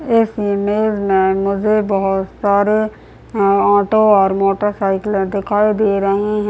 इस इमेज में मुझे बहुत सारे हैं ऑटो और मोटरसाइकिलें दिखाई दे रहीं हैं।